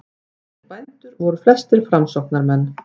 Þessir bændur voru flestir framsóknarmenn.